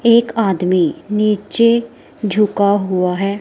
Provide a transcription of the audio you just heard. एक आदमी नीचे झुका हुआ है।